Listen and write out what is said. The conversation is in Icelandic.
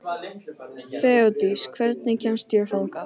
Þeódís, hvernig kemst ég þangað?